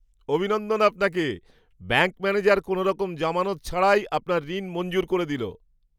অভিনন্দন আপনাকে! Bank manager কোনোরকম জামানত ছাড়াই আপনার ঋণ মঞ্জুর করে দিল!